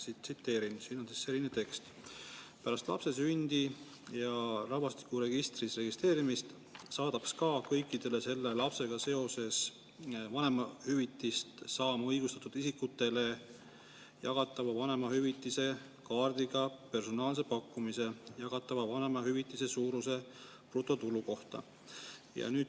Tsiteerin, siin on selline tekst: "Pärast lapse sündi ja rahvastikuregistris registreerimist saadab SKA kõikidele selle lapsega seoses vanemahüvitist saama õigustatud isikutele jagatava vanemahüvitise kaardiga personaalse pakkumuse jagatava vanemahüvitise suuruse kohta.